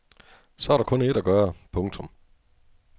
Så er der kun ét at gøre. punktum